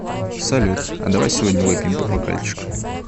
салют а давай сегодня выпьем по бокальчику